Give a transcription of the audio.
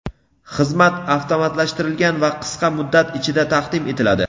Xizmat avtomatlashtirilgan va qisqa muddat ichida taqdim etiladi.